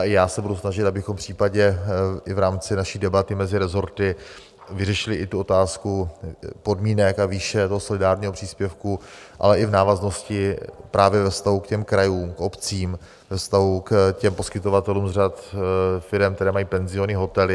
A i já se budu snažit, abychom případně i v rámci naší debaty mezi resorty vyřešili i tu otázku podmínek a výše toho solidárního příspěvku, ale i v návaznosti právě ve vztahu k těm krajům a obcím, ve vztahu k těm poskytovatelům z řad firem, které mají penziony, hotely.